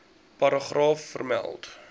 paragraaf vermeld